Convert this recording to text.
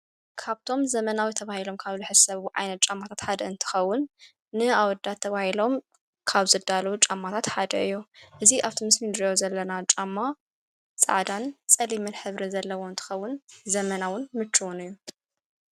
ካብቶም ዘመናዊ ተባሂሎም ካብዝሕሰብ ዓይነት ጫማታት ሓደ እንትኸዉን ንኣወዳት ተባሂሎም ካብ ዘዳለዉ ጫማታት ሓደ እዮ እዙ ኣብቶምስም ድዮ ዘለና ጫማ ፃዕዳን ጸሊምል ሕብሪ ዘለዎ እንትኸውን ዘመናውን ምችውን እዩ።